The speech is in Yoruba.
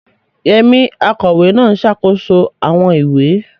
Yemi, akọ̀wé náà, ń ṣàkóso àwọn ìwé.